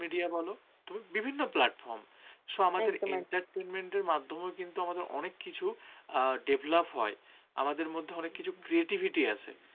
media বল তুমি বিভিন্ন platform শ~ entertainment এর মাধ্যমে আমাদের অনেক কিছু অ্যাঁ develop হয় আমাদের মধ্যে অনেক কিছু creativity আসে